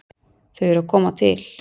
Þau eru að koma til.